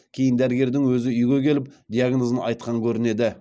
кейін дәрігердің өзі үйге келіп диагнозын айтқан көрінеді